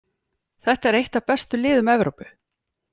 Þetta er eitt af bestu liðum Evrópu.